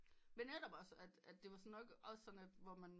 Men netop også at at det var nok sådan hvor man